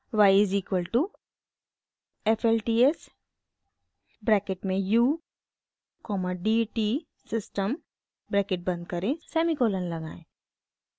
y is equal to f l t s bracket में u comma d t system bracket बंद करें semicolon लगाएं